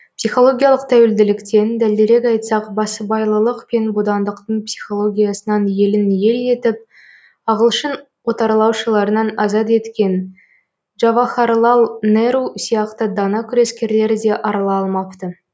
психологиялық тәуелділіктен дәлірек айтсақ басыбайлылық пен бодандықтың психологиясынан елін ел етіп ағылшын отарлаушыларынан азат еткен джавахарлал неру сияқты дана күрескерлер де арыла алмапты